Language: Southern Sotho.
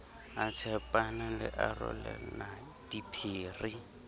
a tshepana le abelana diphiri